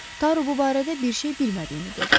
Daro bu barədə bir şey bilmədiyini dedi.